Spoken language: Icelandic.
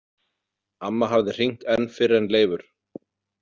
Amma hafði hringt enn fyrr en Leifur.